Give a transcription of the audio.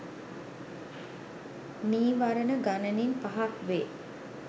නීවරණ ගණනින් පහක් වේ.